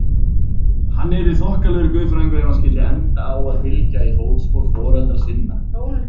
Hann yrði þokkalegur guðfræðingur ef hann skyldi enda á að fylgja í fótspor foreldra sinna.